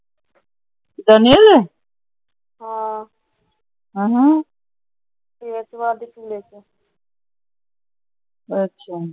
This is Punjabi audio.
ਅੱਛਾ ਦਾ ਰੰਗ ਰੁੰਗ ਕਾਲਾ ਏ। ਅੱਛਾ ਇਹ ਕਿਵੇਂ ਕੀਤਾ ਏ